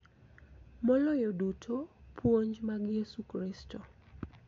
Maloyo duto, puonj mag Yesu Kristo.